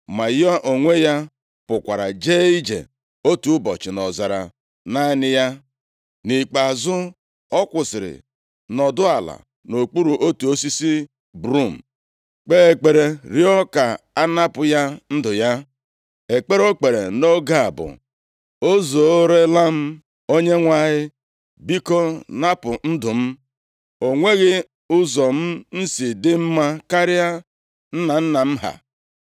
Ma ya onwe ya pụkwara jee ije otu ụbọchị nʼọzara naanị ya. Nʼikpeazụ, ọ kwụsịrị nọdụ ala nʼokpuru otu osisi brum, kpee ekpere rịọọ ka a napụ ya ndụ ya. Ekpere o kpere nʼoge a bụ, “O zuorela m Onyenwe anyị, biko napụ ndụ m. O nweghị ụzọ m si dị mma karịa nna nna m ha.”